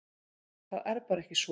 Það er bara ekki svo.